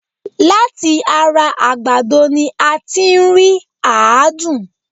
Láti ara àgbàdo ni a ti ń rí àádùn